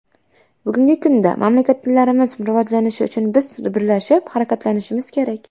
Bugungi kunda mamlakatlarimiz rivojlanishi uchun biz birlashib harakatlanishimiz kerak.